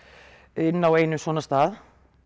inni á einum svona stað